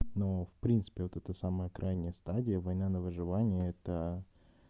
ну в принципе вот это самая крайняя стадия война на выживание это